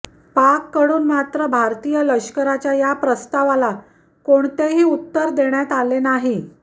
पाककडून मात्र भारतीय लष्कराच्या या प्रस्तावाला कोणतेही उत्तर देण्यात आले नाही